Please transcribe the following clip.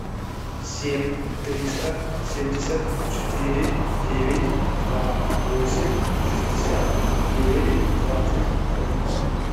семь триста семьдесят четыре девять два восемь шестьдесят девять двадцать один